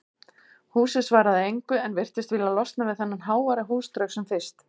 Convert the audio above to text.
Húsið svaraði engu en virtist vilja losna við þennan háværa húsdraug sem fyrst.